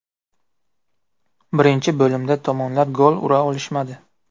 Birinchi bo‘limda tomonlar gol ura olmadi.